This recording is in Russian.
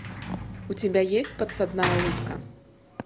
у тебя есть подсадная утка